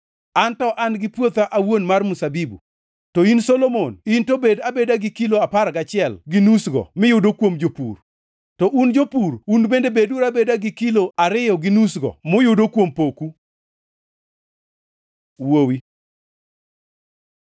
An to an gi puotha awuon mar mzabibu; to in Solomon in to bed abeda gi kilo apar gachiel, gi nusgo miyudo kuom jopur, to un jopur un bende beduru abeda gi kilo, ariyo gi nusgo moyudo kuom poku. Wuowi